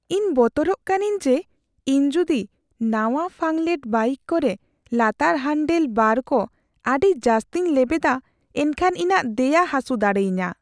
ᱤᱧ ᱵᱚᱛᱚᱨᱚᱜ ᱠᱟᱹᱱᱟᱹᱧ ᱡᱮ ᱤᱧ ᱡᱩᱫᱤ ᱱᱟᱣᱟᱼᱯᱷᱟᱝᱞᱮᱰ ᱵᱟᱭᱤᱠ ᱠᱚᱨᱮ ᱞᱟᱛᱟᱨ ᱦᱟᱱᱰᱮᱞ ᱵᱟᱨ ᱠᱚ ᱟᱹᱰᱤ ᱡᱟᱹᱥᱛᱤᱧ ᱞᱮᱣᱮᱫᱟ ᱮᱱᱠᱷᱟᱱ ᱤᱧᱟᱹᱜ ᱫᱮᱭᱟ ᱦᱟᱹᱥᱩ ᱫᱟᱲᱮᱭᱟᱹᱧᱟᱹ ᱾